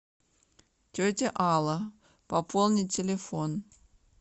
тетя алла пополнить телефон